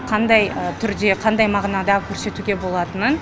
қандай түрде қандай мағынада көрсетуге болатынын